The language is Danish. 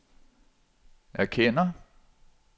erkender